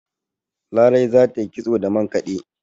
Larai za ta yi kitso da mankade